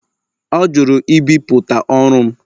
Ọ jụrụ ibipụta ọrụ m